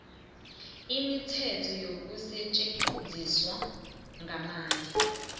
imithetho yokusetjenziswa kwamandla